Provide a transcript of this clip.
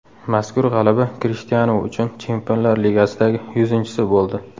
Mazkur g‘alaba Krishtianu uchun Chempionlar Ligasidagi yuzinchisi bo‘ldi .